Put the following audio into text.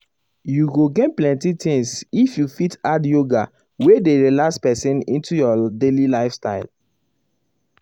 you go gain plenty things if you fit add yoga wey dey relax person into your daily lifestyle.